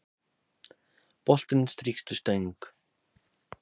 Boltinn strýkst við stöng